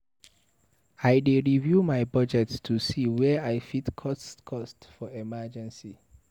I dey review my budget to see where I fit cut costs in emergencies.